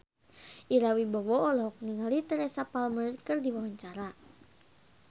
Ira Wibowo olohok ningali Teresa Palmer keur diwawancara